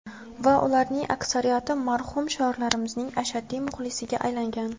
Va ularning aksariyati marhum shoirimizning ashaddiy muxlisiga aylangan.